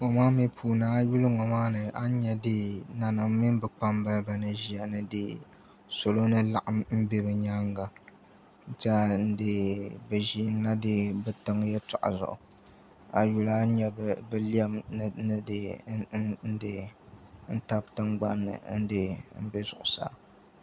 A yi yuli ŋo maa ni a ni nyɛ nanim mini bi kpambalibi ni ʒiya ni salo ni laɣam n bɛ bi nyaanga n tiɛha bi ʒinila bi tiŋ yɛltɔɣa zuɣu a yuli a ni nyɛ bi lɛm ni tabi tingbani n nbɛ zuɣusaa